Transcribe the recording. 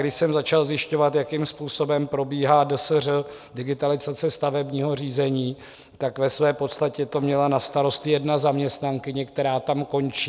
Když jsem začal zjišťovat, jakým způsobem probíhá DSŘ, digitalizace stavebního řízení, tak ve své podstatě to měla na starost jedna zaměstnankyně, která tam končí.